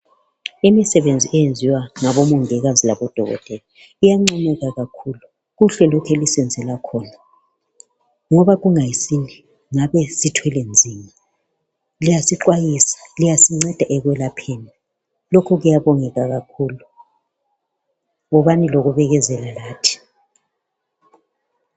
Imisebenzi eyenziwa ngabomongikazi labodokotela iyancomeka kakhulu. Kuhle lokhu elisenzela khona, ngoba kungayisini ngabe sithwele nzima. Liyasixwayisa, liyasinceda ekwelapheni. Lokho kuyabongeka kakhulu. Wobani lokubekezela lathi.